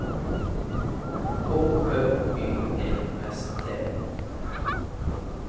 H Ø Y E S T